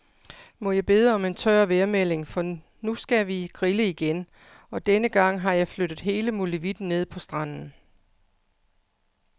Må jeg bede om en tør vejrmelding, for nu skal vi grille igen, og denne gang har jeg flyttet hele molevitten ned på stranden.